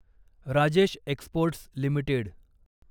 Rajesh exports limited